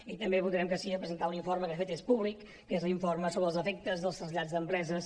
i també votarem que sí a presentar un informe que de fet és públic que és l’informe sobre els efectes dels trasllats d’empreses